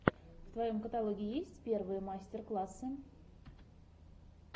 в твоем каталоге есть первые мастер классы